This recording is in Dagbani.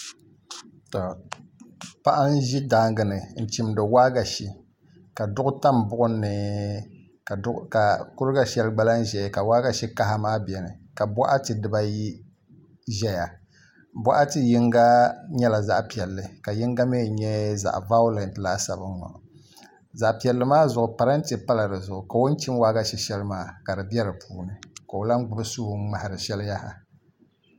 Paɣa n ʒi daangi ni n chimdi waagashe ka duɣu tam buɣum ni ka kuriga shɛli gba lahi ʒɛya ka waagashe kaha maa biɛni ka boɣati dibayi ʒɛya boɣati yinga nyɛla zaɣ piɛlli ka yinga mii nyɛ zaɣ vaulɛt laasabu zaɣ piɛlli maa zuɣu parantɛ pala dizuɣu ka o ni chim waagashe shɛli maa ka di bɛ dinni ka o lahi gbubi suu n ŋmahari shɛli yaha